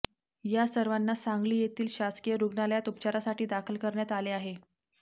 या सर्वांना सांगली येथील शासकीय रुग्णालयात उपचारासाठी दाखल करण्यात आले आहे